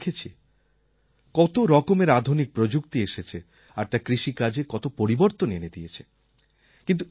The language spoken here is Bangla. তাতে আমি দেখেছি কত রকমের আধুনিক প্রযুক্তি এসেছে আর তা কৃষিকাজে কত পরিবর্তন এনে দিয়েছে